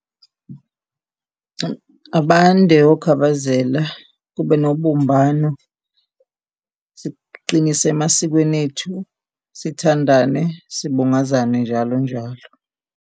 Abande oKhabazela kube nobumbano, siqinise emasikweni ethu, sithandane sibungazane njalo, njalo.